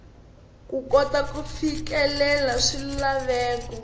ku kota ku fikelela swilaveko